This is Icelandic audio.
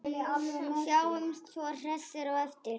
Sjáumst svo hressir á eftir.